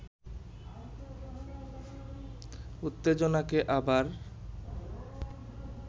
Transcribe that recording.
উত্তেজনাকে আবার